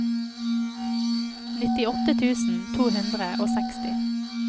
nittiåtte tusen to hundre og seksti